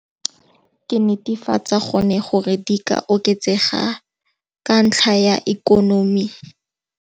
Ke netefatsa gone gore di ka oketsega ka ntlha ya ikonomi.